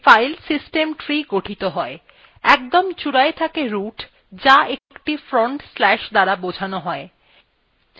একদম চূড়ায় থাকে root যা একটি frontslash/at দ্বারা বোঝানো হয় এইটি অন্যান্য সব files এবং ডিরেক্টরী ধারণ করে